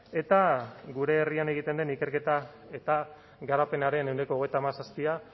eta gure herrian egiten den ikerketa eta garapenaren ehuneko hogeita hamazazpia